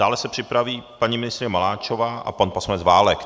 Dále se připraví paní ministryně Maláčová a pan poslanec Válek.